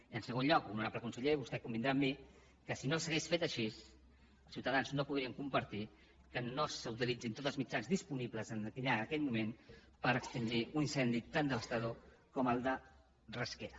i en segon lloc honorable conseller vostè convindrà amb mi que si no s’hagués fet així els ciutadans no podrien compartir que no s’utilitzessin tots els mitjans disponibles allà en aquell moment per extingir un incendi tan devastador com el de rasquera